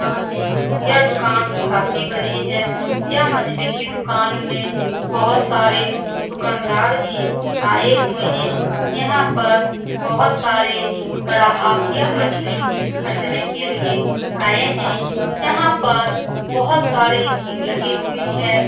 दूकान है यह दुकान काफी बड़ी है यह मछली की दुकान में बहुत सारे दुकानदार भी आए हुए हैं यहाँ पर बहुत सारे गरहाकियां मछली खरीदने के लिए आए हैं यहाँ पर बहुत सारे भीर लगी हुई हैं ।